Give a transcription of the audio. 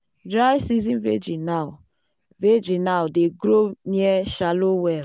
dry season vegi now vegi now dey grow near shallow well.